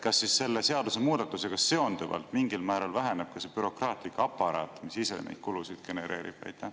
Kas selle seadusemuudatusega seonduvalt mingil määral väheneb ka see bürokraatlik aparaat, mis ise neid kulusid genereerib?